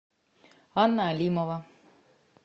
анна алимова